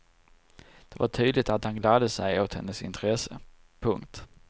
Det var tydligt att han gladde sig åt hennes intresse. punkt